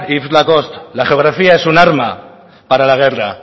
grabazio akatsa la geografía es un arma para la guerra